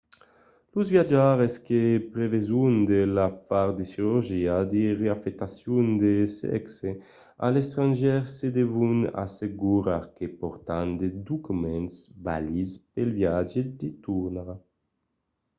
los viatjaires que preveson de far de cirurgia de reafectacion de sèxe a l’estrangièr se devon assegurar que pòrtan de documents valids pel viatge de tornada